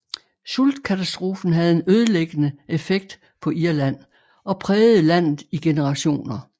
Sultkatastrofen havde en ødelæggende effekt på Irland og prægede landet i generationer